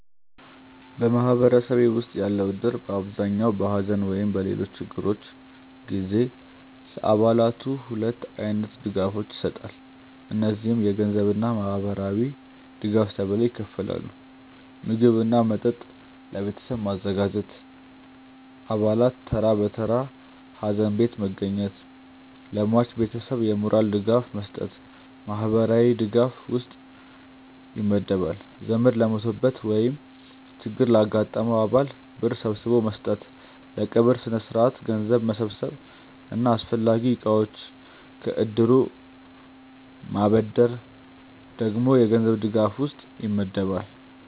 በማህበረሰቤ ውስጥ ያለው እድር በአብዛኛው በሐዘን ወይም በሌሎች ችግሮች ጊዜ ለአባላቱ ሁለት አይነት ድጋፎችን ይሰጣል። እነዚህም የገንዘብ እና ማህበራዊ ድጋፍ ተብለው ይከፈላሉ። ምግብ እና መጠጥ ለቤተሰቡ ማዘጋጀት፣ አባላት ተራ በተራ ሀዘን ቤት መገኘት፣ ለሟች ቤተሰብ የሞራል ድጋፍ መስጠት ማህበራዊ ድጋፍ ውስጥ ይመደባል። ዘመድ ለሞተበት ወይም ችግር ላጋጠመው አባል ብር ሰብስቦ መስጠት፣ ለቀብር ስነስርዓት ገንዘብ መሰብሰብ እና አስፈላጊ እቃዎችን ከእድሩ ማበደር ደግሞ የገንዘብ ድጋፍ ውስጥ ይመደባል።